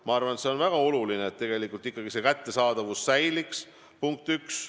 Ma arvan, et on väga oluline, et tegelikult ikkagi ravimite kättesaadavus säiliks – punkt 1.